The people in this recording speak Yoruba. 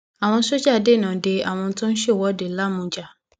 àwọn sójà dènà de àwọn tó ń ṣèwọde lámujà